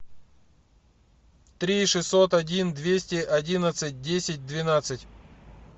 три шестьсот один двести одиннадцать десять двенадцать